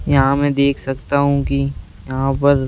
यहाँ मैं देख सकता हूँ कि यहाँ पर --